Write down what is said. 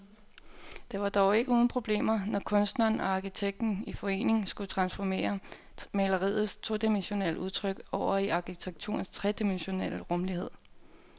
Det var dog ikke uden problemer, når kunstneren og arkitekten i forening skulle transformere maleriets todimensionelle udtryk over i arkitekturens tredimensionelle rumlighed.